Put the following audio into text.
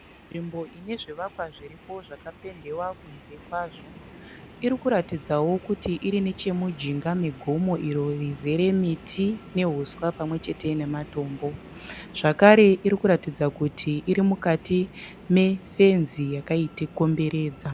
Nzvimbo ine zvivakwa zviripo zvakapendewa kunze kwazvo. Iri kuratidzao kuti iri nechemujinga megomo iro rizere miti nehuswa pamwechete nematombo. Zvekare iri kuratidza kuti iri mukati mefenzi yakaikomberedza.